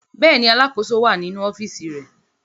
Bẹ́ẹ̀ ni, alákòóso wà nínú ọ́fíísì rẹ̀.